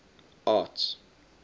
arts